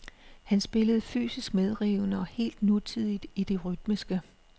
Han spillede fysisk medrivende og helt nutidigt i det rytmiske.